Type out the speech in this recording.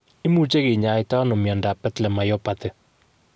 Imuche kinyaita nao miondap Bethlem myopathy?